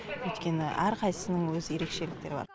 өйткені әрқайсысының өз ерекшеліктері бар